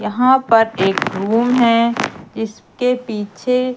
यहां पर एक रूम है जिसके पीछे--